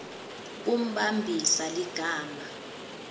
kumbambisa ligama